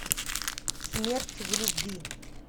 смерть в любви